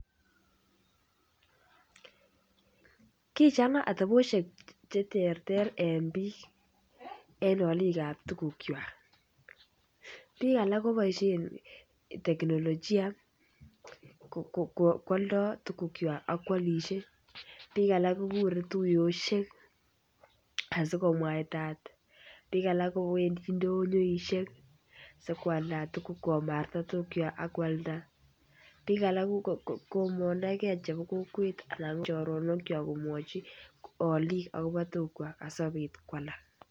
Kichanga atebosiek Che terter en bik en alik ab tugukwak bik alak koboisien teknolojia kialdo tugukwak ak koalisie bik alak kogure tuiyosiek asi komwaitat bik alak kobendi ndonyoisiek asi koalda komarta tuguk koalda bik alak ko mondoi ge chebo kokwet anan choronokwak komwochi alik akobo tugukwak asikobit ko alak